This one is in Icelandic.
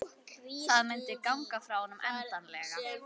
Það myndi ganga frá honum endanlega.